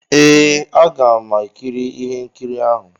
Ee, aga m ekiri ihe nkiri ahụ.